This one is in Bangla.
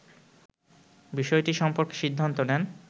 বিষয়টি সম্পর্কে সিদ্ধান্ত নেন